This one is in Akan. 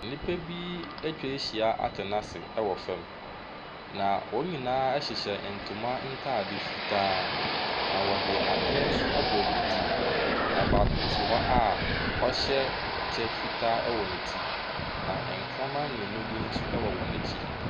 Nnipa bi atwahyia atena se ɛwɔ fam. Na wɔn nyinaa hyehyɛ ntoma ataade fitaa. Na wɔde adeɛ ɛnso abɔ wɔn ti. Na baako te hɔ a ɔhyɛ ɛkyɛ fitaa ɛwɔ ne ti. Na nkraman mmienu bi nso ɛwɔ wɔn akyi.